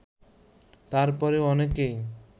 তার পরও অনেকেই